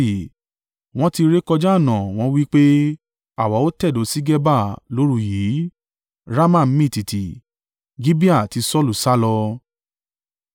Wọ́n ti rékọjá ọ̀nà, wọ́n wí pé, “Àwa ó tẹ̀dó sí Geba lóru yìí.” Rama mì tìtì Gibeah ti Saulu sálọ.